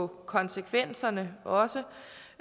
konsekvenserne også